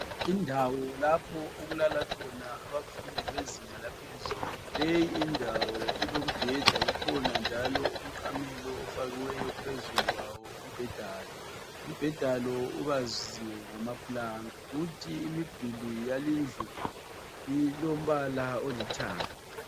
Indawo lapho okulala khona abafundi bezinga laphezulu leyi indawo ilombheda kukhona njalo umqamelo ofakiweyo phezulu kwawo umbhedalo, umbheda lo ubaziwe ngamaplanka kuthi imiduli yalindlu ilombala olithanga.